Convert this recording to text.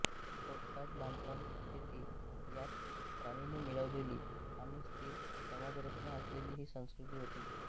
खोदकाम बांधकाम शेती यात प्रावीण्य मिळवलेली आणि स्थिर समाजरचना असलेली ही संस्कृती होती